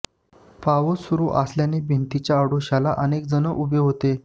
पाऊस सुरु असल्याने भिंतीच्या आडोश्याला अनेक जण उभे होते